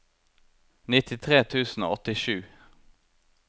nittitre tusen og åttisju